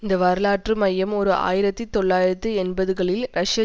இந்த வரலாற்று மையம் ஓர் ஆயிரத்தி தொள்ளாயிரத்தி எண்பதுகளில் ரஷ்ய